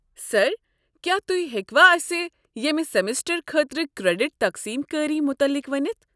سر، کیا توہہِ ہیٚکوٕ اسِہ ییٚمہ سیمسٹر خٲطرٕ کریڈٹ تقسیٖم کٲری متعلق ؤنتھ؟